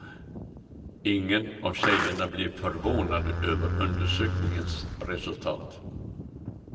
Ingen av tjejerna blir förvånade över undersökningens resultat.